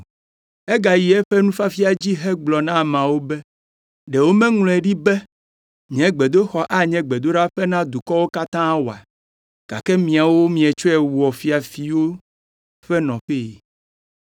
Egay eƒe nufiafia dzi hegblɔ na ameawo be, “Ɖe womeŋlɔe ɖi be, ‘Nye gbedoxɔ anye gbedoɖaƒe na dukɔwo katã oa’? Gake miawo mietsɔe wɔ ‘fiafitɔwo ƒe nɔƒee.’ ”